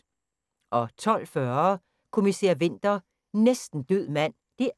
12:40: Kommissær Winter: Næsten død mand (2:2)